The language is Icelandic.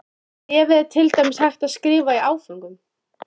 Bréfið er til dæmis hægt að skrifa í áföngum.